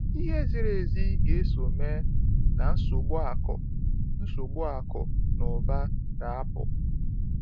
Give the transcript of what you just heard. Ihe ziri ezi ga-eso mee, na nsogbu akụ nsogbu akụ na ụba ga-apụ.